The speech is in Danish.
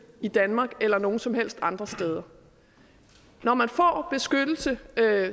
i danmark eller nogen som helst andre steder når man får beskyttelse